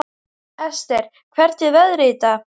Esther, hvernig er veðrið í dag?